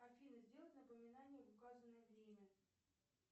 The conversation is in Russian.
афина сделать напоминание в указанное время